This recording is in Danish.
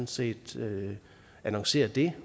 set annoncerede det